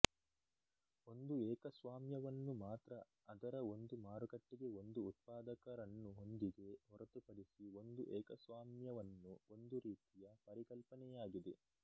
ಒಂದು ಏಕಸ್ವಾಮ್ಯವನ್ನು ಮಾತ್ರ ಅದರ ಒಂದು ಮಾರುಕಟ್ಟೆಗೆ ಒಂದು ಉತ್ಪಾದಕರನ್ನು ಹೊಂದಿದೆ ಹೊರತುಪಡಿಸಿ ಒಂದು ಏಕಸ್ವಾಮ್ಯವನ್ನು ಒಂದು ರೀತಿಯ ಪರಿಕಲ್ಪನೆಯಾಗಿದೆ